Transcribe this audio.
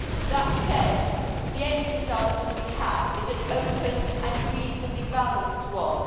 That said, the end result that we have is an open and reasonably balanced one.